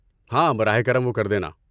ہاں، براہ کرم وہ کر دینا۔